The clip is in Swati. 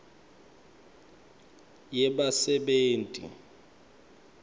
yebasebenti